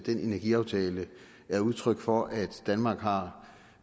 energiaftale er udtryk for at danmark har